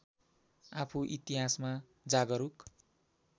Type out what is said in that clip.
आफू इतिहासमा जागरुक